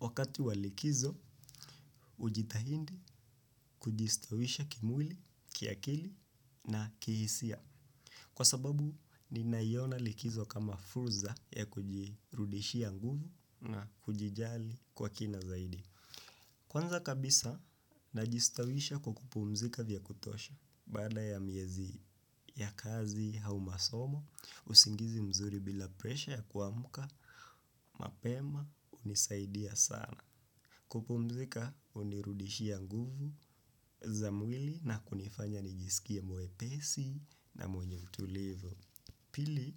Wakati walikizo, ujitahindi kujistawisha kimwili, kiakili na kihisia. Kwa sababu, ninayona likizo kama furza ya kujirudishia nguvu na kujijali kwa kina zaidi. Kwanza kabisa, najistawisha kwa kupumzika vya kutosha. Bada ya miezi ya kazi hau masomo, usingizi mzuri bila presha ya kuamuka, mapema, unisaidia sana. Kupumzika unirudishia nguvu za mwili na kunifanya nijisikie mwepesi na mwenye utulivu. Pili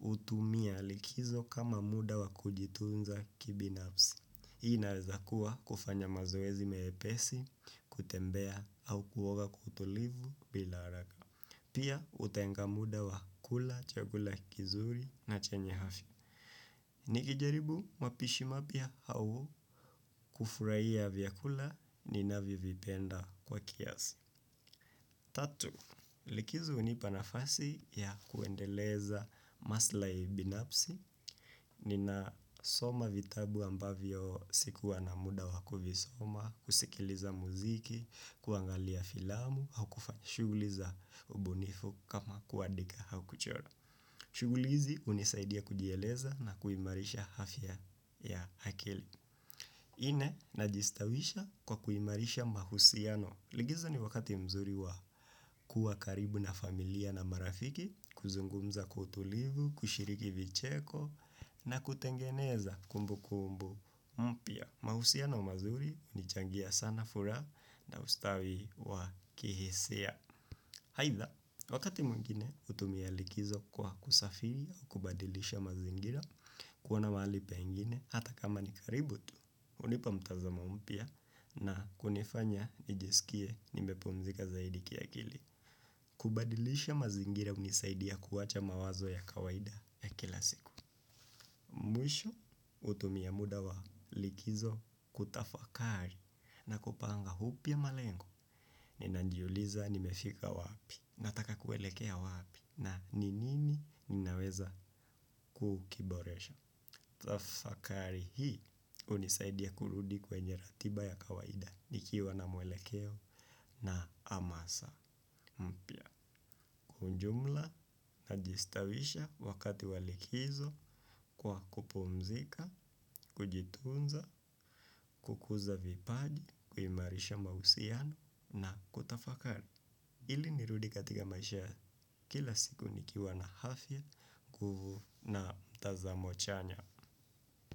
utumia likizo kama muda wa kujitunza kibinafsi. Inaweza kuwa kufanya mazoezi mepesi, kutembea au kuwoga kwa kutulivu bila haraka. Pia utenga muda wa kula chakula kizuri na chenye hafia. Nikijaribu mapishi mapia au kufurai ya viakula ni navivipenda kwa kiasi. Tatu, likizo unipanafasi ya kuendeleza maslai binapsi. Nina soma vitabu ambavyo sikuwa na muda wakuvisoma, kusikiliza muziki, kuangalia filamu au kufanya shuguliza ubunifu kama kuadika au kuchora. Shuguli hizi unisaidia kujieleza na kuimarisha hafya ya hakili ine najiistawisha kwa kuimarisha mahusiano. Ligizo ni wakati mzuri wa kuwa karibu na familia na marafiki. Kuzungumza kwa utulivu, kushiriki vicheko na kutengeneza kumbukumbu mpia. Mahusiano mazuri unichangia sana furaha na ustawi wa kihisia. Haitha, wakati mwengine utumia likizo kwa kusafiri kubadilisha mazingira kuona mahali pengine, hata kama ni karibu tu, unipa mtazamo mpia na kunifanya nijisikie nimepumzika zaidi kiakili. Kubadilisha mazingira unisaidia kuwacha mawazo ya kawaida ya kila siku. Mwisho, utumia muda wa likizo kutafakari na kupanga hupia malengo. Ninanjiuliza nimefika wapi, nataka kuelekea wapi na ninini ninaweza kukiboresha. Tafakari hii unisaidia kurudi kwenye ratiba ya kawaida nikiwa na mwelekeo na amasa. Mpia kwa ujumla najistawisha wakati wa likizo kwa kupumzika, kujitunza, kukuza vipaji, kuyimarisha mausiano na kutafakari. Ili nirudi katika maisha kila siku nikiwa na hafia, nguvu na mtazamo chanya.